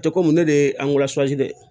Tɛ komi ne de ye dɛ ye